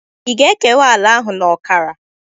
Ị ga-ekewa ala ahụ na ọkara?